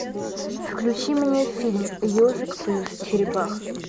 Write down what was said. включи мне фильм ежик плюс черепаха